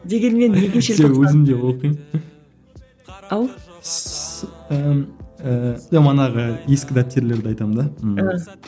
өзім де оқимын ау ыыы манағы ескі дәптерлерді айтамын да ммм